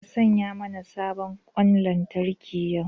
Ka saya mana sabon ƙwan lantarki yau!